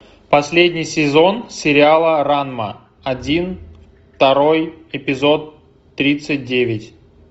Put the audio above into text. последний сезон сериала ранма один второй эпизод тридцать девять